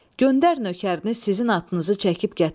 Göndər nökərini sizin atınızı çəkib gətirsin.